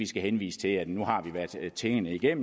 skal henvise til at tingene er